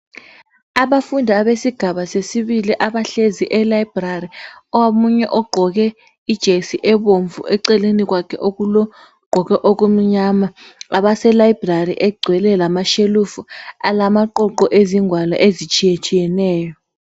Abafundi abesigaba sesibili abahlezi elibrary. Omunye ugqoke ijesi ebomvu eceleni kwakhe okulo gqoke okumnyama. Abase library egcwele lamashelufu alamaqoqo ezingwalo ezitshiyatshiyeneyo.